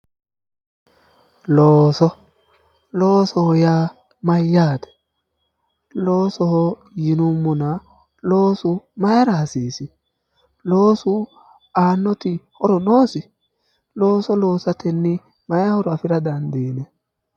looso loosoho yaa mayyaate? loosoho yinummona loosu mayiira hasiisi? loosu aannoti horo noosi looso loosatenni mayi horo afira dandiinanni.